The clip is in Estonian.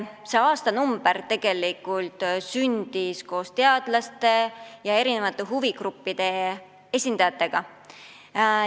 See aastanumber tegelikult sündis teadlaste ja eri huvigruppide esindajate koostöös.